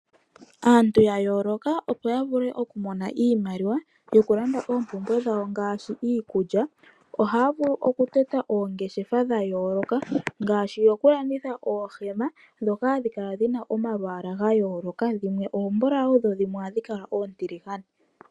Aantu ya yooloka, opo yavule okumona Iimaliwa yokulanda oompumbwe dhawo, ngaashi iikulya, ohaya vulu okutota oongeshefa dha yooloka, ngaashi dhokulanditha oohema, ndhoka hadhi kala dhina omalwaala ga yooloka, dhimwe oombulawu, dhimwe ohadhi kala oontiligane.